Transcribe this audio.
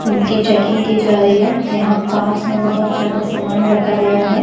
उनकी चेकिंग की जा रही है यहां पास में बहोत ज्यादा सामान रखा गया है।